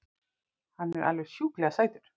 Hann er alveg sjúklega sætur!